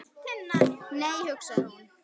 Nei, hugsaði hún.